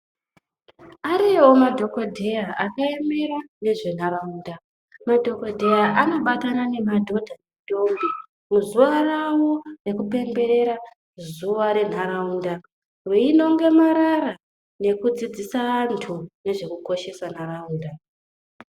Ariyovo madhogodheya akaemera ngezvenharaunda. Madhogodheya anobatana nemadhodha nendombi muzuva ravo rekupemberera zuva renharaunda. Veinonge marara nokudzidzisa antu nezvekukoshesa nharaunda.